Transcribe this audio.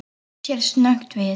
Hann snýr sér snöggt við.